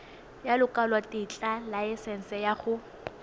ya lekwalotetla laesense ya go